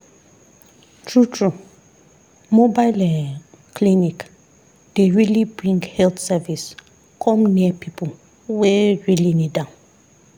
true true mobile[um]clinic dey really bring health service come near people wey really need am.